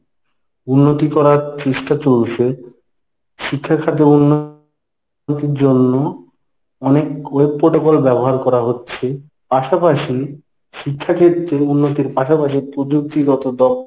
উন্নতি করার চেষ্টা চলছে শিক্ষাখাতে উন্নতির জন্য অনেক web protocol ব্যবহার করা হচ্ছে পাশাপাশি শিক্ষাক্ষেত্রে উন্নতির পাশাপাশি প্রযুক্তিগত